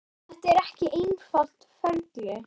Þetta er ekki einfalt ferli.